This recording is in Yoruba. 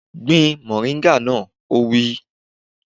Gbin mọ̀ríńgà náà! Ó wí.